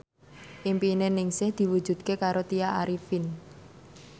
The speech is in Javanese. impine Ningsih diwujudke karo Tya Arifin